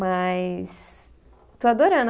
Mas estou adorando.